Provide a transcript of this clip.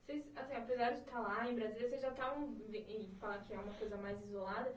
Vocês assim apesar de estar lá em Brasília, vocês já estavam e falando que é uma coisa mais isolada.